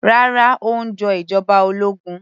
Rárá, ó ń jọ ìjọba ológun